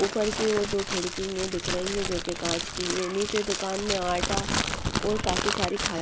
ऊपर की और दो खिड़की दिख रही है जो कि काँच की हैं नीचे दुकान में आटा और काफी सारी --